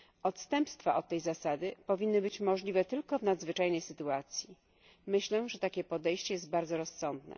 Odstępstwa od tej zasady powinny być możliwe tylko w nadzwyczajnej sytuacji. Myślę, że takie podejście jest bardzo rozsądne.